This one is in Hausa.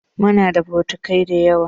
Muna da bokitai dayawa.